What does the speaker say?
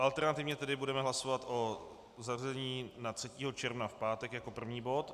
Alternativně tedy budeme hlasovat o zařazení na 3. června v pátek jako první bod.